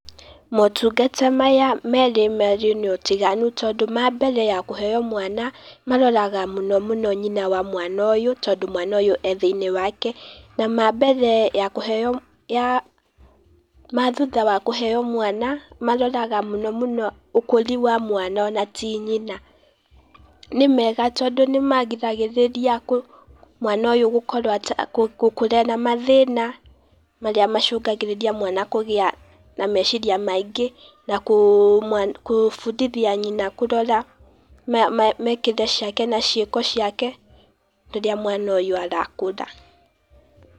Motungata maya merĩ marĩ na ũtiganu tondũ ma mbere ya kũheo mwana maroraga mũnomũno nyina wa mwana ũyũ tondũ mwana ũyũ e thĩiniĩ wake, na ma mbere ya kũheo, ya, ma thutha ya kũheo mwana, maroraga mũno ũkũri wa mwana ona ti nyina. Nĩ mega tondũ nĩ magiragĩrĩria kũ mwana ũyũ gũkorwo, gũkura ena mathina, marĩa macũngagĩrĩria mwana kũgĩa na meciria maingĩ nakũ, gũbundithia nyina kũrora, mĩĩkire ciake na cĩĩko ciake rĩrĩa mwana ũyũ arakũra.